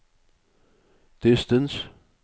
distance